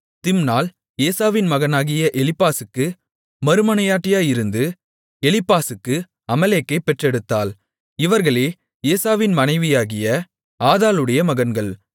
திம்னாள் ஏசாவின் மகனாகிய எலிப்பாசுக்கு மறுமனையாட்டியாயிருந்து எலீப்பாசுக்கு அமலேக்கைப் பெற்றெடுத்தாள் இவர்களே ஏசாவின் மனைவியாகிய ஆதாளுடைய மகன்கள்